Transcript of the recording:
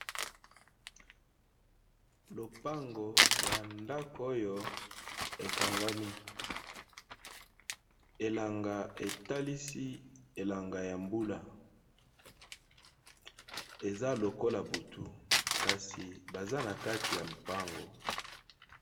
Lopango ya ndako oyo ekangami, elanga etalisi elanga ya mbula eza lokola butu kasi baza na kati ya lopango.